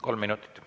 Kolm minutit.